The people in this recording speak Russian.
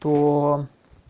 то